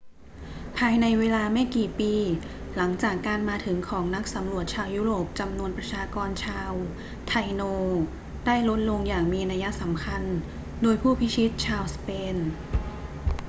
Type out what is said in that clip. ภายในเวลาไม่กี่ปี หลังจากการมาถึงของนักสำรวจชาวยุโรปจำนวนประชากรชาวไทโนได้ลดลงอย่างมีนัยสำคัญโดยผู้พิชิตชาวสเปน